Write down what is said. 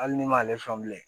Hali ne m'ale faamu bilen